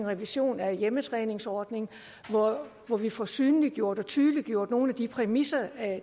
revision af hjemmetræningsordningen hvor vi får synliggjort og tydeliggjort nogle af de præmisser